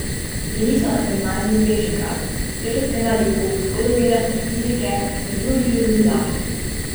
Bili so na gimnaziji Bežigrad, kjer so spremljali pouk zgodovine ter fizike in se družili z dijaki.